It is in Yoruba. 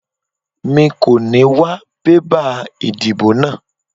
Mi kò ní wá bébà ìdìbò náà